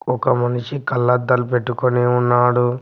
ఒక మనిషి కళ్ళద్దాలు పెట్టుకుని ఉన్నాడు.